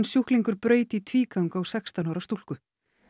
sjúklingur braut í tvígang á sextán ára stúlku